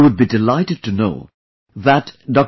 You would be delighted to know that Dr